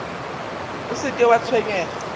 o se ke wa tshwenyega